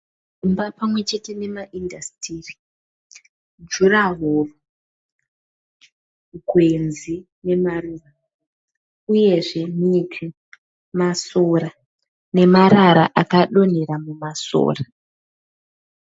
Imba pamwe chete nemaindasitiri, juraworo, gwenzi nemarira uyezve miti masora nemarara akadonhera mumasora.